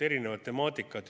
Erinevad temaatikad.